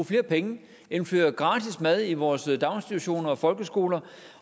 flere penge indføres gratis mad i vores daginstitutioner og folkeskoler